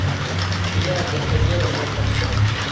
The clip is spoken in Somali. Digaagga eryada oo qabso